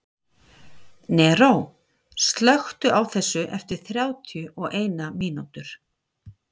Neró, slökktu á þessu eftir þrjátíu og eina mínútur.